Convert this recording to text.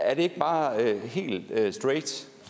er det ikke bare helt straight